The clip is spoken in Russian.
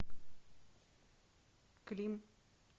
клим